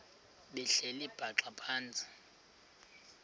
behleli bhaxa phantsi